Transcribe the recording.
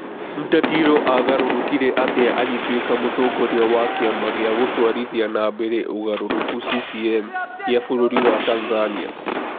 Mtatiro aagarũrũkire atĩa agĩtuĩka mũtongoria wa kiama gia gũtwarithia na mbere ũgarũrũku (CCM) gia bũrũri wa Tanzania?